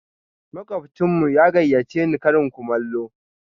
Makwabcinmu ya gayyace ni karin kumallo.